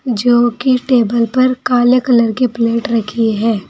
जो की टेबल पर काले कलर के प्लेट रखी है।